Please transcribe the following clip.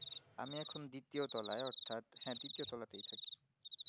আমি এখন দ্বিতীয় তলায় অথাৎ দ্বিতীয় তলাতেই থাকি